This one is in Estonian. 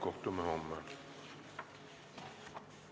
Kohtume homme!